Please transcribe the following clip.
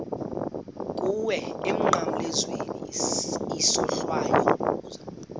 kuwe emnqamlezweni isohlwayo